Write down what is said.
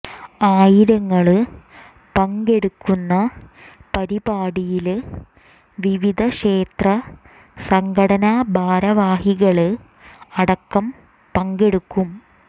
ആയിരങ്ങള് പങ്കെടുക്കുന്ന പരിപാടിയില് വിവിധ ക്ഷേത്ര സംഘടനാ ഭാരവാഹികള് അടക്കം പങ്കെടുക്കും